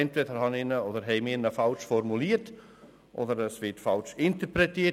Entweder haben wir ihn falsch formuliert, oder er wird falsch interpretiert.